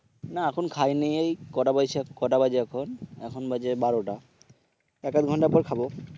না এখন খাইনি এই কটা বেজেছে কটা বাজে এখন এখন বাজে বারোটা, এক আধ ঘন্টা পর খাব